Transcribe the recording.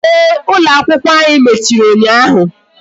Ee, ụlọ akwụkwọ ànyị mechiri ụnyaahụ